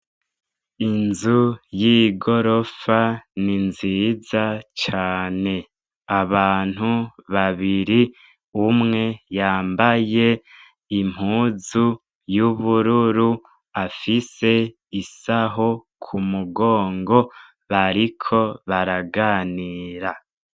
Inzu y'igorofa ni nziza cane. Abantu babiri umwe yambaye impuzu y'ubururu, afise isaho ku mugongo. Bariko baraganira.